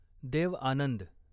Dev Anand